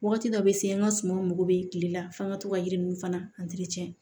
Wagati dɔ bɛ se an ka sumanw mako bɛ tile la f'an ka to ka yiri ninnu fana